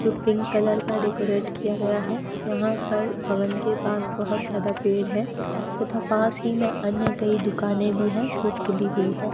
जो pink colour का decorate किया गया है यहां पर भवन के पास बहोत ज्यादा पेड़ है तथा पास ही में अन्य कई दुकाने भी है जो खुली हुई हैं।